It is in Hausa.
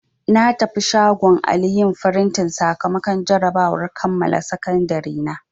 Na tafi shagon Ali yin frintin sakamakon jarabawar kammala Sakandiri na.